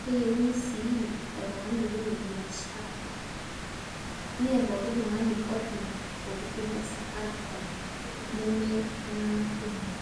keyieuni sii oltung'ani oyiolo biashara mee pooki tung'ani ojing' olturrur le Safaricom nemeltung'anak kumok.